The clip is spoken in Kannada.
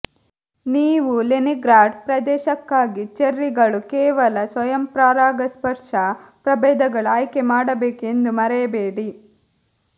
ನೀವು ಲೆನಿನ್ಗ್ರಾಡ್ ಪ್ರದೇಶಕ್ಕಾಗಿ ಚೆರ್ರಿಗಳು ಕೇವಲ ಸ್ವಯಂ ಪರಾಗಸ್ಪರ್ಶ ಪ್ರಭೇದಗಳು ಆಯ್ಕೆ ಮಾಡಬೇಕು ಎಂದು ಮರೆಯಬೇಡಿ